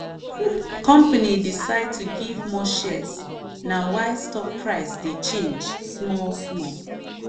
company decide to give more shares na why stock price dey change small-small.